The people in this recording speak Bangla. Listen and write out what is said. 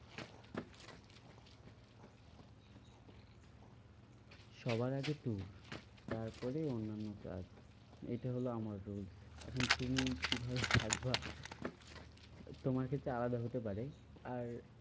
সবার আগে tour তারপরে অন্যান্য কাজ। এটা হলো আমার rules. এখন তুমি কিভাবে দেখবা তোমার কাছে আলাদা হতে পারে আর